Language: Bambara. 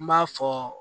N b'a fɔ